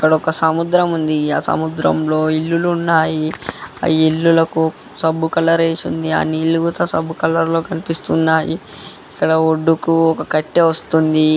ఇక్కడ ఒక సముద్రం ఉంది. ఆ సముద్రంలో ఇల్లులు ఉన్నాయి. ఆ ఇల్లులకు సబ్ కలర్ వేసుంది. ఆ నీళ్లు సబ్బు కలర్ లో కనిపిస్తున్నాయి. ఇక్కడ ఒడ్డుకు ఒక కట్టె వస్తుంది.